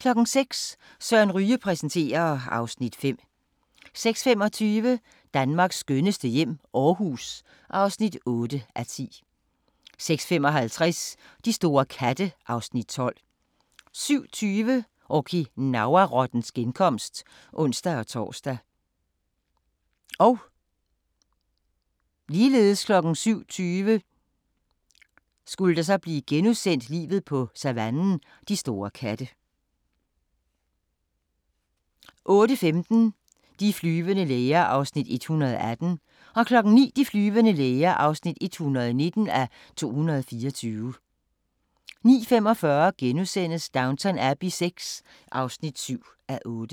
06:00: Søren Ryge præsenterer (Afs. 5) 06:25: Danmarks skønneste hjem - Aarhus (8:10) 06:55: De store katte (Afs. 12) 07:20: Okinawa-rottens genkomst (ons-tor) 07:20: Livet på savannen – de store katte * 08:15: De flyvende læger (118:224) 09:00: De flyvende læger (119:224) 09:45: Downton Abbey VI (7:8)*